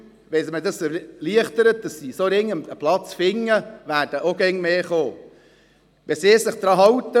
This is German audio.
Wenn man es ihnen erleichtert, einfach einen Platz zu finden, werden immer mehr von ihnen kommen.